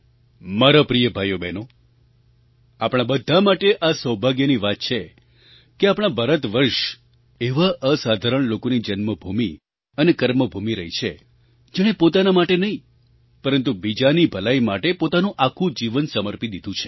મારા પ્રિય ભાઈઓબહેનો આપણા બધા માટે આ સૌભાગ્યની વાત છે કે આપણા ભારતવર્ષ એવા અસાધારણ લોકોની જન્મભૂમિ અને કર્મભૂમિ રહી છે જેણે પોતાના માટે નહીં પરંતુ બીજાની ભલાઈ માટે પોતાનું આખું જીવન સમર્પી દીધું છે